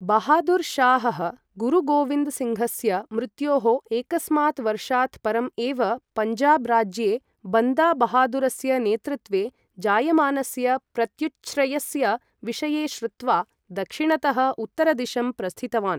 बहादुर् शाहः, गुरु गोविन्द सिङ्घस्य मृत्योः एकस्मात् वर्षात् परम् एव, पञ्जाब् राज्ये बन्दा बहादुरस्य नेतृत्वे जायमानस्य प्रत्युच्छ्रयस्य विषये श्रुत्वा, दक्षिणतः उत्तरदिशं प्रस्थितवान्।